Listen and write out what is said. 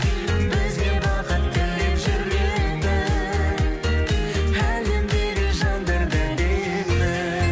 бізге бақыт тілеп жүретін әлемдегі жандар да әдемі